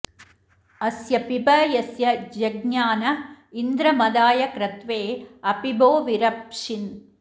अस्य पिब यस्य जज्ञान इन्द्र मदाय क्रत्वे अपिबो विरप्शिन्